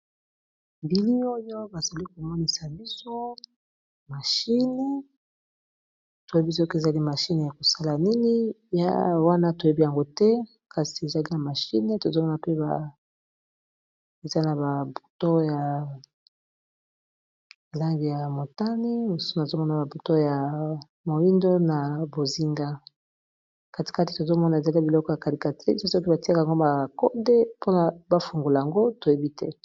Bilili oyo bazali komonisa biso machine toyebi soki ezali machine ya kosala nini wana toyebi yango te kasi ezali na machine tozomona pe ezali na ba bouton ya ba langi ya motani, nazomona ba bouton moyindo na bozinga, kati kati tozomona ezali biloko ya calculatrice soki batiaka yango ba kode po ba fungola yango toyebi te.